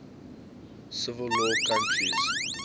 civil law countries